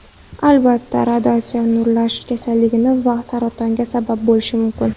Albatta, radiatsiya nurlanish kasalligiga va saratonga sabab bo‘lishi mumkin.